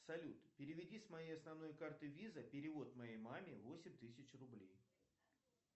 салют переведи с моей основной карты виза перевод моей маме восемь тысяч рублей